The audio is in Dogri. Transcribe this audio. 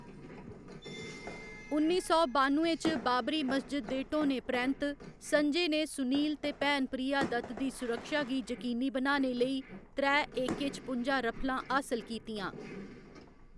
उन्नी सौ बानुए च बाबरी मस्जिद दे ढ्हौने परैंत्त, संजय ने सुनील ते भैन प्रिया दत्त दी सुरक्षा गी यकीनी बनाने लेई त्रै ए.के. छपुंजा रफलां हासल कीतियां।